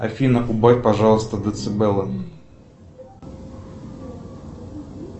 афина убавь пожалуйста децибелы